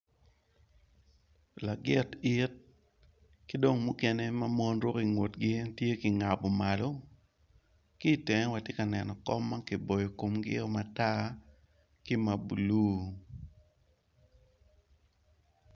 Lagit it kidong mukene mamon ruko ki ngutgi en tye kingabo malo kitenge watye ka neno kom ma kiboyo komgi o matar ki ma blue.